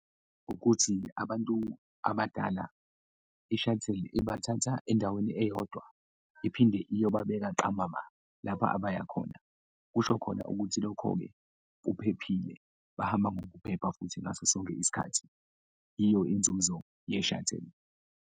Ukuthi abantu abadala i-shuttle-i ibathatha endaweni eyodwa iphinde iyobabeka ntambama lapha abayakhona, kusho khona ukuthi lokho-ke kuphephile, bahamba ngokuphepha futhi ngaso sonke isikhathi, iyo inzuzo ye-shuttle.